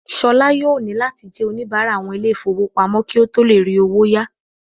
Ṣọlá yóò nílò láti jẹ́ oníbárà àwọn ilé ìfowópamọ́ kí ó tó le rí owó ya